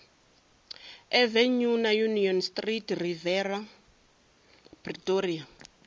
avenue na union street riviera pretoria